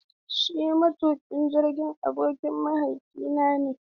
Shin matuƙin jirgin ruwan abokin mahaifinka ne?